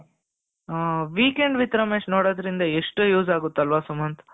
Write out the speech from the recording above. ಹ್ಹಾ weekend with Ramesh ನೋಡೋದ್ರಿಂದ ಎಷ್ಟು use ಆಗುತ್ತೆ ಅಲ್ವಾ ಸುಮಂತ್.